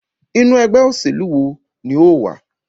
Inú ẹgbẹ́ òṣèlú wo ní o wà?